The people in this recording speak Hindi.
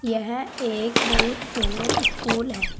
यह एक बहुत सुंदर स्कूल है।